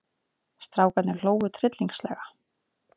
Strákarnir hlógu tryllingslega.